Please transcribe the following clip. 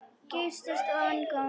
Geysast ofan góminn.